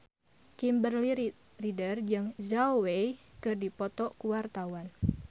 Kimberly Ryder jeung Zhao Wei keur dipoto ku wartawan